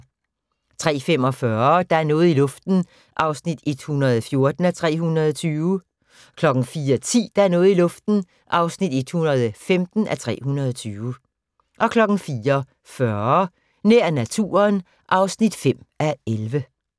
03:45: Der er noget i luften (114:320) 04:10: Der er noget i luften (115:320) 04:40: Nær naturen (5:11)